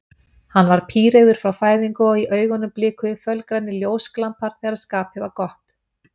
Hann var píreygður frá fæðingu og í augunum blikuðu fölgrænir ljósglampar þegar skapið var gott.